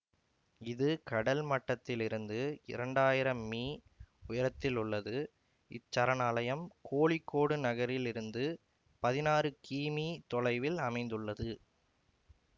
இது கடல் மட்டத்திலிருந்து இரண்டாயிரம் மீ உயரத்திலுள்ளது இச்சரணாலயம் கோழிக்கோடு நகரிலிருந்து பதினாறு கீமீ தொலைவில் அமைந்துள்ளது